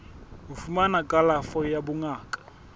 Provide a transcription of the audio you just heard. ho fumana kalafo ya bongaka